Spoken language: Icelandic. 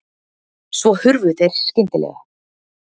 Svo hurfu þeir skyndilega.